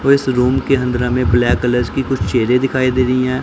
वो इस रुम के अन्दर हमें ब्लैक कलर्स की कुछ चेहरे दिखाई दे रही है।